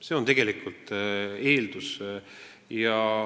See on eeldus!